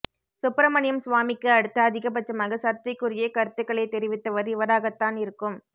சுப்பிரமணியம் சுவாமிக்கு அடுத்து அதிகபட்சமாக சர்ச்சைக்குரிய கருத்துக்களை தெரிவித்தவர் இவராகத்தான் இருக்கும்